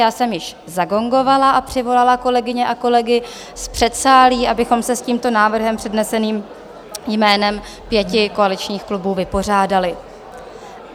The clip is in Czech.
Já jsem již zagongovala a přivolala kolegyně a kolegy z předsálí, abychom se s tímto návrhem předneseným jménem pěti koaličních klubů vypořádali.